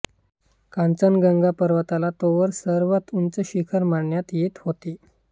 कांचनगंगा पर्वताला तोवर सर्वात उंच शिखर मानण्यात येत होते